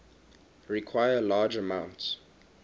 require large amounts